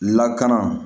Lakana